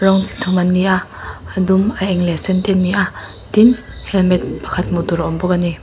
rawng chi thum an ni a a dum a eng leh a sen te an ni a tin halmet pakhat hmuh tur a awm bawk a ni.